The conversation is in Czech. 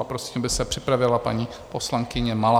A prosím, aby se připravila paní poslankyně Malá.